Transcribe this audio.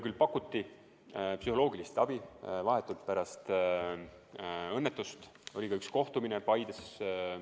Mulle pakuti psühholoogilist abi ja vahetult pärast õnnetust oli ka üks kohtumine Paides.